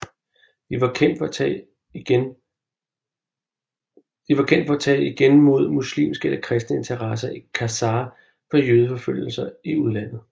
De var kendt for at tage igen mod muslimske eller kristne interesser i Khazar for jødeforfølgelser i udlandet